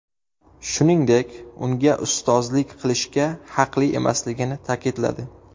Shuningdek unga ustozlik qilishga haqli emasligini ta’kidladi.